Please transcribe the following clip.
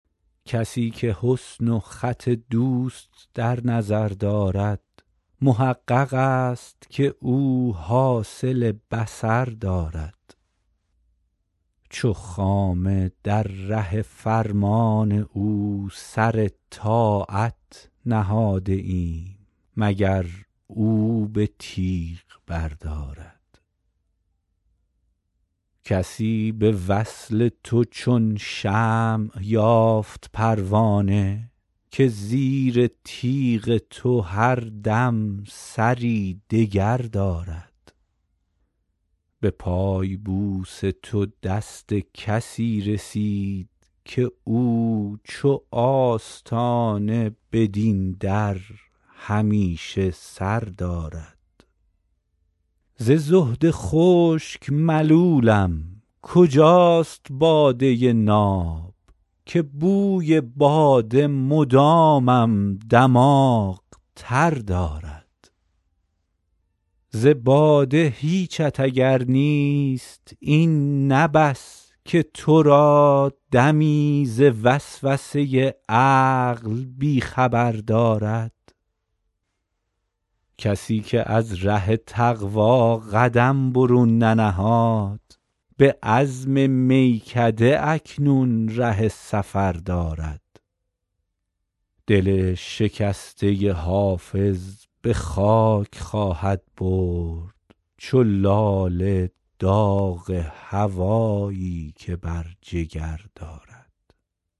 کسی که حسن و خط دوست در نظر دارد محقق است که او حاصل بصر دارد چو خامه در ره فرمان او سر طاعت نهاده ایم مگر او به تیغ بردارد کسی به وصل تو چون شمع یافت پروانه که زیر تیغ تو هر دم سری دگر دارد به پای بوس تو دست کسی رسید که او چو آستانه بدین در همیشه سر دارد ز زهد خشک ملولم کجاست باده ناب که بوی باده مدامم دماغ تر دارد ز باده هیچت اگر نیست این نه بس که تو را دمی ز وسوسه عقل بی خبر دارد کسی که از ره تقوا قدم برون ننهاد به عزم میکده اکنون ره سفر دارد دل شکسته حافظ به خاک خواهد برد چو لاله داغ هوایی که بر جگر دارد